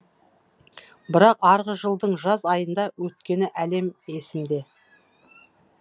бірақ арғы жылдың жаз айында өткені әлем есімде